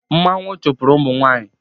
Mmanwu chụpụrụ ụmụ nwanyị